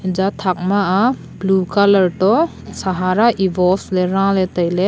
aja thak ma a blue colour to sahara evols le raley tailey.